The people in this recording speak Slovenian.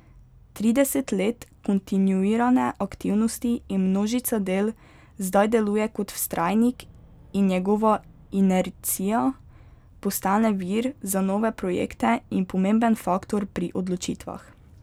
Trideset let kontinuirane aktivnosti in množica del zdaj deluje kot vztrajnik in njegova inercija postane vir za nove projekte in pomemben faktor pri odločitvah.